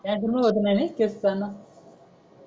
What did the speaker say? त्यातून होत णा यांनी केस गडण